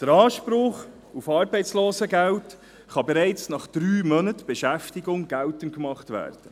Der Anspruch auf Arbeitslosengeld kann bereits nach drei Monaten Beschäftigung geltend gemacht werden.